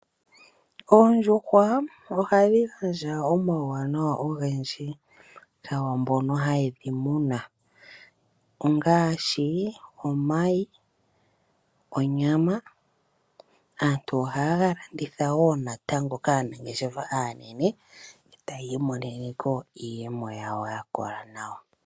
Oondjuhwa ohadhi gandja omauwanawa ogendji ku mboka haye dhi muna ngaashi omayi nonyama. Aantu ohaye ga landitha woo kaanangeshefa aanene e taya imonene iiyemo yawo ya kola nawa.